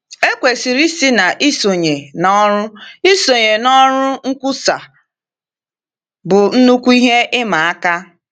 Ekwesịrị ịsị na isonye n’ọrụ isonye n’ọrụ nkwusa bụ nnukwu ihe ịma aka.